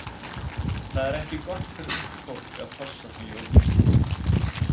Það er ekki gott fyrir ungt fólk að hossa því of mikið.